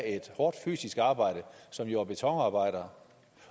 et hårdt fysisk arbejde som jord og betonarbejder